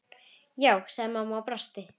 Já, sagði mamma og brosti.